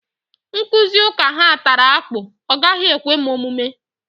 Nkụzi ụka ha tara akpụ, ọ gaghị ekwe m omume